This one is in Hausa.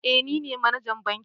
Eh nine manajan bankin